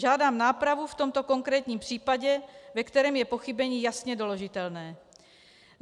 Žádám nápravu v tomto konkrétním případě, ve kterém je pochybení jasně doložitelné.